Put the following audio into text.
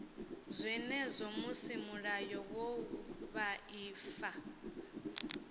zwenezwo musi mulayo wa vhuaifa